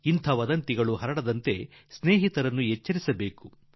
ಇಂತಹ ಸುಳ್ಳು ಸಂಗತಿಗಳು ಬಂದಾಗ ಅವನ್ನು ನಮ್ಮ ಸ್ನೇಹಿತರಲ್ಲಿ ಹಂಚಿಕೊಂಡು ಅವರನ್ನು ಎಚ